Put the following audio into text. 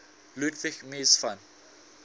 ludwig mies van